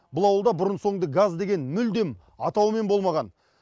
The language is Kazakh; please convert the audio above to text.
бұл ауылда бұрын соңды газ деген мүлдем атауымен болмаған